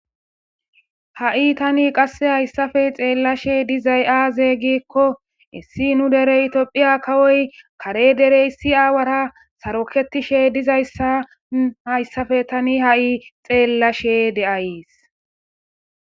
Ha"i hayissappe alin taani xelashshe dizay aze gizayissa gidikko nu dere Ethiopia kawo awara sarokishe dizayissa taani beyashe days